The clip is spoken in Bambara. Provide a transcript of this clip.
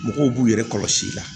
Mɔgɔw b'u yɛrɛ kɔlɔsi i la